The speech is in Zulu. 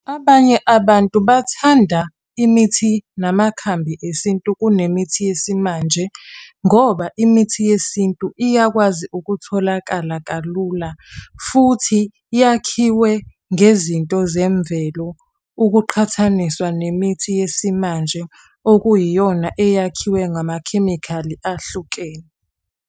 Abanye abantu bathanda imithi namakhambi eSintu kunemithi yesimanje. Ngoba imithi yeSintu iyakwazi ukutholakala kalula. Futhi yakhiwe ngezinto zemvelo ukuqhathaniswa nemithi yesimanje okuyiyona eyakhiwe ngamakhemikhali ahlukene.